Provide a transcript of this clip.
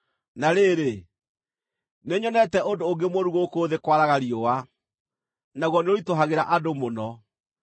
Na rĩrĩ, nĩnyonete ũndũ ũngĩ mũũru gũkũ thĩ kwaraga riũa, naguo nĩũritũhagĩra andũ mũno: